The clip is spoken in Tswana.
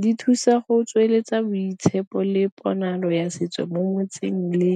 di thusa go tsweletsa boitshepo le ponalo ya setso mo motseng le